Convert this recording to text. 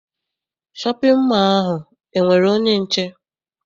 Shọpịn mọọ ahụ enwere onye nche?